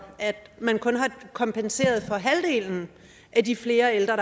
at man kun har kompenseret for halvdelen af de flere ældre